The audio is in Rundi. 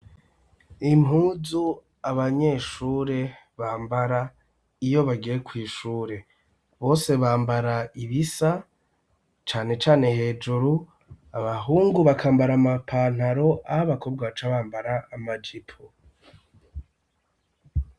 Impuzu, abanyeshure bambara, iyo bagiye kw'ishure; bose bambara ibisa, cane cane hejuru; abahungu, bakambara amapantaro, aho abakobwa, baca bambara amajipo.